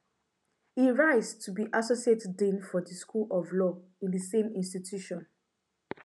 e rise to be associate dean for di school of law in di same institution